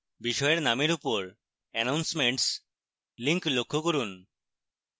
বিষয়ের names উপর announcements link লক্ষ্য করুন